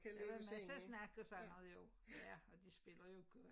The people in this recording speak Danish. Men der var masser af snak og sådan noget jo ja og de spiller jo godt